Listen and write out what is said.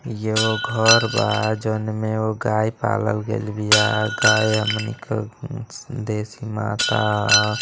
ई एगो घर बा। जोनमे वो गाय पालल गइल बिया। गाय हमनिके देसी माता ह।